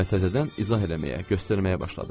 Və təzədən izah eləməyə, göstərməyə başladı.